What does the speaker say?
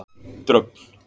Dröfn